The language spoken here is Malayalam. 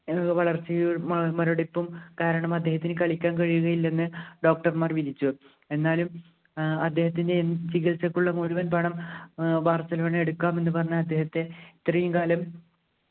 ഏർ വളർച്ചയിൽ മുരടിപ്പും കാരണം അദ്ദേഹത്തിന് കളിക്കാൻ കഴിയുകയില്ലെന്ന് doctor മാർ വിധിച്ചു എന്നാലും ഏർ അദ്ദേഹത്തിൻ്റെ ചികിത്സയ്ക്കുള്ള മുഴുവൻ പണം ഏർ ബാർസലോണ എടുക്കാം എന്ന് പറഞ്ഞ് അദ്ദേഹത്തെ ഇത്രയും കാലം